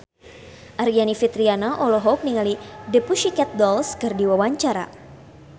Aryani Fitriana olohok ningali The Pussycat Dolls keur diwawancara